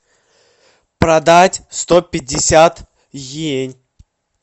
продать сто пятьдесят иен